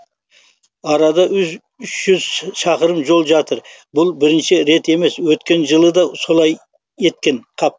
арада үш жүз шақырым жол жатыр бұл бірінші рет емес өткен жылы да солай еткен қап